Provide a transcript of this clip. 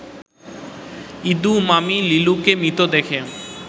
ইদু মামি লিলুকে মৃত দেখে